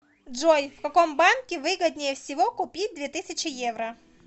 джой в каком банке выгоднее всего купить две тысячи евро